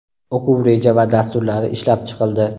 o‘quv reja va dasturlari ishlab chiqildi.